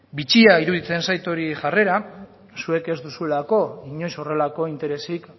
bitxia iruditzen zait hori jarrera zuek ez duzuelako inoiz horrelako interesik